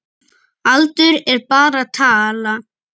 Aldur er bara tala.